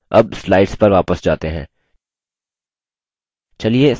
अब slides पर वापस जाते हैं